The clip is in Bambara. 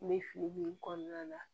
N bɛ fili min kɔnɔna na